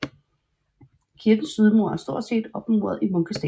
Kirkens sydmur er stort set opmuret i munkesten